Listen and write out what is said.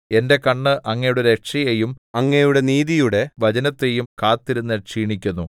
എന്റെ കണ്ണ് അങ്ങയുടെ രക്ഷയെയും അങ്ങയുടെ നീതിയുടെ വചനത്തെയും കാത്തിരുന്ന് ക്ഷീണിക്കുന്നു